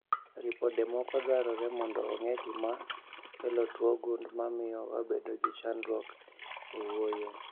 Ripode moko dwarore mondo ong'e gima kelo tuo gund mamio wabedo gi chandruok e wuoyo